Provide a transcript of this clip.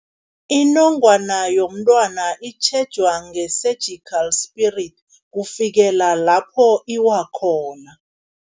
Inongwana yomntwana itjhejwa nge-surgical spirit, kufikela lapho iwa khona.